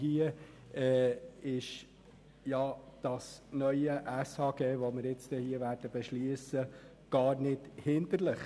Das neue SHG, welches wir beschliessen, ist dabei jedoch nicht hinder- lich.